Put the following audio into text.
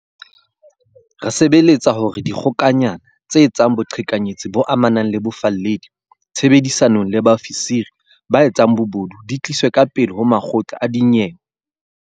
Re sebeletsa ho netefatsa hore dikgokanyana tse etsang boqhekanyetsi bo amanang le bofalledi, tshebedisanong le bao fisiri ba etsang bobodu, di tliswe ka pele ho makgotla a dinyewe.